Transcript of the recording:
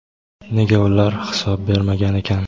nega ular hisob bermagan ekan.